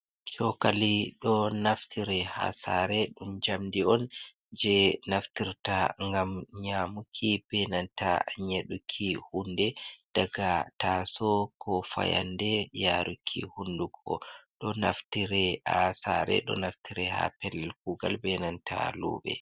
Chokali ɗo naftire ha sare, ɗum jamdi on je naftirta gam nyamuki, benanta nyeɗuki hunde daga taso, ko fayande, yaruki hundugo, ɗo naftire ha sare ɗo naftire ha pellel kugal benanta luɓe.